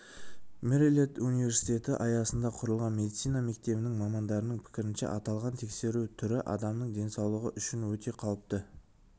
мэриленд университеті аясында құрылған медицина мектебінің мамандарының пікірінше аталған тексеру түрі адамның денсаулығы үшін өте қауіпті